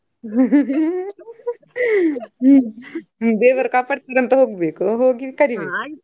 ದೇವರು ಕಾಪಾಡ್ತಾರೆ ಅಂತ ಹೋಗ್ಬೇಕು ಹೋಗಿ ಕದಿಬೇಕು.